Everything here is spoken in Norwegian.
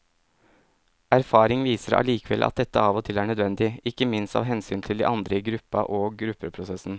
Erfaring viser allikevel at dette av og til er nødvendig, ikke minst av hensyn til de andre i gruppa og gruppeprosessen.